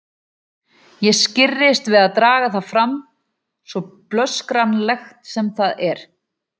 Ég skirrist við að draga það fram, svo blöskranlegt sem það er.